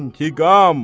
İntiqam!